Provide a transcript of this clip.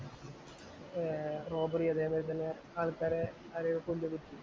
Robbery അതേപോലെ ആള്‍ക്കാരെ കൊന്നിടും.